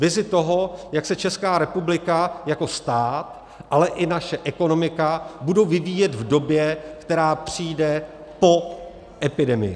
Vizi toho, jak se Česká republika jako stát, ale i naše ekonomika budou vyvíjet v době, která přijde po epidemii.